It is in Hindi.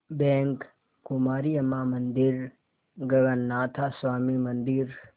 बैंक कुमारी अम्मां मंदिर गगनाथा स्वामी मंदिर